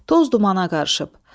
Toz dumana qarışıb.